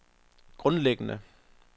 grundlæggende